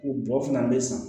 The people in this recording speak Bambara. O bɔ fana bɛ san